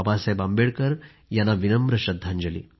बाबासाहेब यांना विनम्र श्रद्धांजली